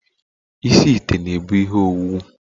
Isi ite na ebu ihe owuwu